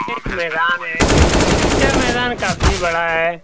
एक मैदान है यह मैदान काफी बड़ा है।